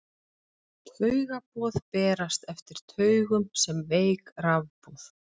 taugaboð berast eftir taugum sem veik rafboð